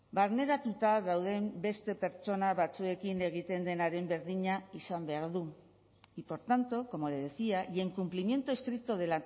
barneratuta dauden beste pertsona batzuekin egiten denaren berdina izan behar du y por tanto como le decía y en cumplimiento estricto de